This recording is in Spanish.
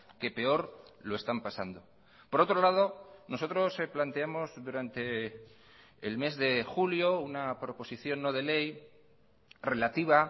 que peor lo están pasando por otro lado nosotros planteamos durante el mes de julio una proposición no de ley relativa